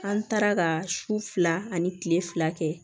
An taara ka su fila ani kile fila kɛ